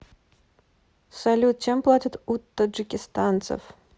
салют чем платят у таджикистанцев